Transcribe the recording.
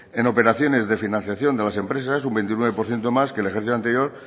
en operaciones de financiación de las empresas es un veintinueve por ciento más que en el ejercicio anterior